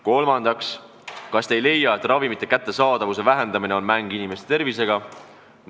Kolmandaks, kas te ei leia, et ravimite kättesaadavuse vähendamine on mäng inimeste tervisega?